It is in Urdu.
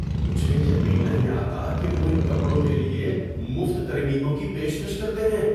مجھے یقین نہیں آتا کہ وہ ان کپڑوں کے لیے مفت ترمیموں کی پیشکش کرتے ہیں!